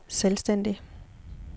selvstændig